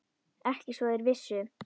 Ekki svo þeir vissu.